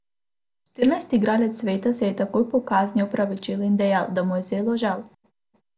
Štirinajsti igralec sveta se je takoj po kazni opravičil in dejal, da mu je zelo žal.